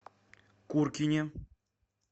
куркине